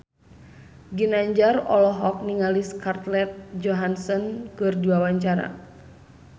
Ginanjar olohok ningali Scarlett Johansson keur diwawancara